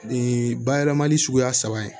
Nin bayɛlɛmali suguya saba ye